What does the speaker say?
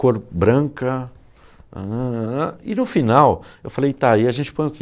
Cor branca... E no final eu falei, tá, e a gente põe o quê?